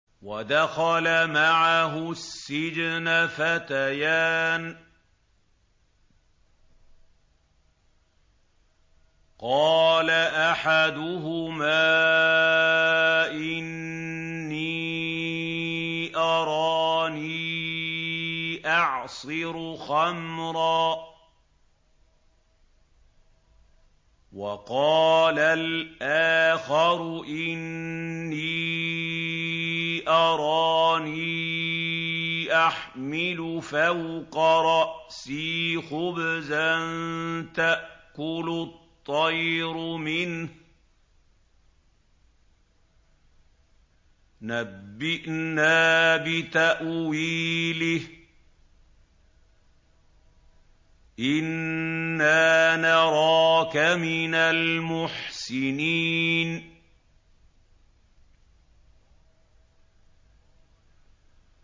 وَدَخَلَ مَعَهُ السِّجْنَ فَتَيَانِ ۖ قَالَ أَحَدُهُمَا إِنِّي أَرَانِي أَعْصِرُ خَمْرًا ۖ وَقَالَ الْآخَرُ إِنِّي أَرَانِي أَحْمِلُ فَوْقَ رَأْسِي خُبْزًا تَأْكُلُ الطَّيْرُ مِنْهُ ۖ نَبِّئْنَا بِتَأْوِيلِهِ ۖ إِنَّا نَرَاكَ مِنَ الْمُحْسِنِينَ